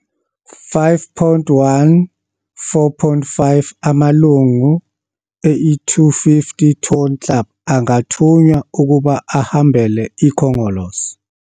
5.1.4.5 Amalungu e250 Ton Club angathunywa ukuba ahambele iKhongolose.